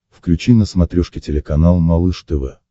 включи на смотрешке телеканал малыш тв